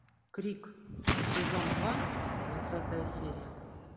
крик сезон два двадцатая серия